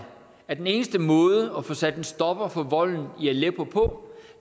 at den eneste måde at få sat en stopper for volden i aleppo på